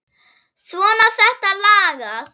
Svona, þetta lagast